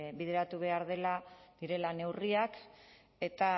bideratu behar direla neurriak eta